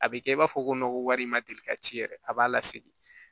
A bɛ kɛ i b'a fɔ ko ko wari in ma deli ka ci yɛrɛ a b'a lasegin